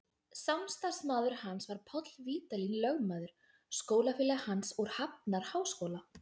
Samstarfsmaður hans var Páll Vídalín lögmaður, skólafélagi hans úr Hafnarháskóla.